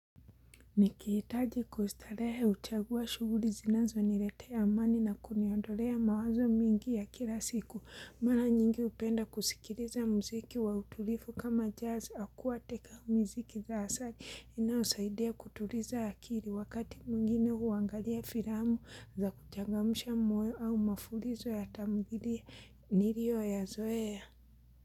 Nikihitaji kustarehe huchagua shuguli zinazoniletea amani na kuniondolea mawazo mingi ya kila siku. Mara nyingi hupenda kusikiliza mziki wa utulivu kama jazz aquatic au miziki za asali. Inayosaidia kutuliza akili wakati mwingine huangalia filamu za kuchangamsha moyo au mafulizo ya tamdhilia nilioyazoea.